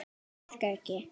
Þetta virkar ekki.